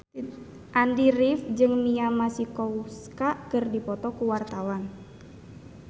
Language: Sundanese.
Andy rif jeung Mia Masikowska keur dipoto ku wartawan